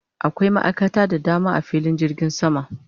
Akwai ma'aikata da dama a filin jirgin sama